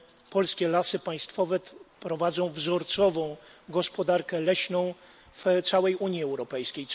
polskie Lasy Państwowe prowadzą wzorcową gospodarkę leśną w całej Unii Europejskiej.